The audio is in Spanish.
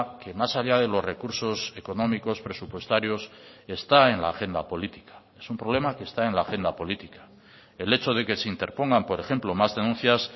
que más allá de los recursos económicos presupuestarios está en la agenda política es un problema que está en la agenda política el hecho de que se interpongan por ejemplo más denuncias